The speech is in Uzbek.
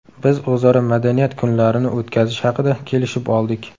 Biz o‘zaro madaniyat kunlarini o‘tkazish haqida kelishib oldik.